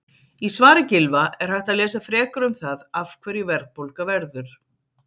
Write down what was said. Í svari Gylfa er hægt að lesa frekar um það af hverju verðbólga verður.